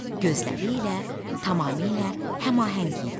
Gözləri ilə tamamilə həmahəng idi.